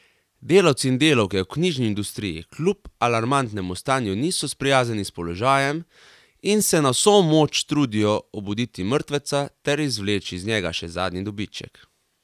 Delavci in delavke v knjižni industriji kljub alarmantnemu stanju niso sprijaznjeni s položajem in se na vso moč trudijo obuditi mrtveca ter izvleči iz njega še zadnji dobiček.